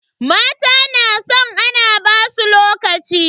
Mata na san ana basu lokaci.